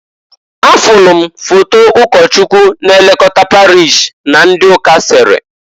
Afulu m foto ụkọchụkwu na-elokota parish na ndị ụka sere.